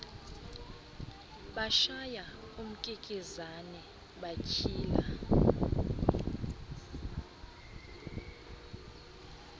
bashaya umkikizane batshila